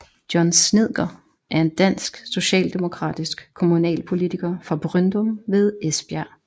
John Snedker er en dansk socialdemokratisk kommunalpolitiker fra Bryndum ved Esbjerg